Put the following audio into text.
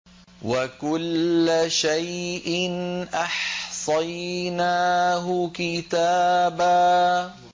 وَكُلَّ شَيْءٍ أَحْصَيْنَاهُ كِتَابًا